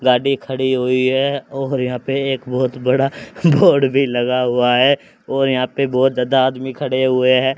गाड़ी खड़ी हुई है और यहां पे एक बहोत बड़ा बोर्ड भी लगा हुआ है और यहां पे बहोत ज्यादा आदमी खड़े हुए हैं।